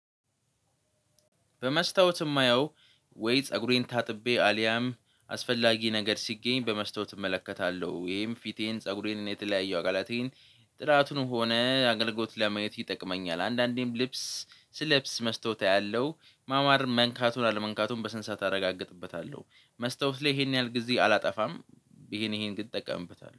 በመስታወት የማየው ወይ ፀጉሬን ታጥቤ አልያም አስፈላጊ ነገር ሲገኝ በመስታወት እመለከታለሁ። ወይም ፊቴን ፀጉሬን የተለያየ አቃላቴን ጥራቱንም ሆነ አገልግሎት ለማየት ይጠቅመኛል። አንዳንዴም ልብስ ስለብስ መስታወት አያለሁ ማማር መንካቱን አለመንካቱን በስነ ስርዓት አረጋግጥበታለሁ። መስታወት ላይ ይሄን ያህል ጊዜ አላጠፋም። ይሄን ይሄን ግን እጠቀምበታለሁ